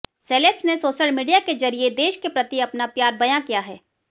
celebs ने social media के जरिए देश के प्रति अपना प्यार बयां किया है